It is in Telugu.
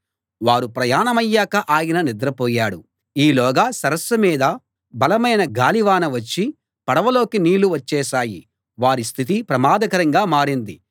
వారు ప్రయాణమయ్యాక ఆయన నిద్రపోయాడు ఈలోగా సరస్సు మీద బలమైన గాలివాన వచ్చి పడవలోకి నీళ్ళు వచ్చేశాయి వారి స్థితి ప్రమాదకరంగా మారింది